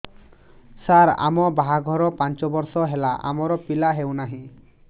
ସାର ଆମ ବାହା ଘର ପାଞ୍ଚ ବର୍ଷ ହେଲା ଆମର ପିଲା ହେଉନାହିଁ